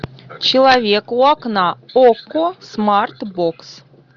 человек у окна окко смарт бокс